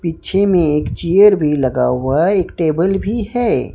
पीछे में एक चेयर भी लगा हुआ है एक टेबल भी है।